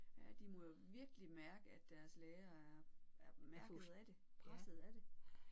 Ja de må jo virkelig mærke at deres lærere er er mærket af det presset af det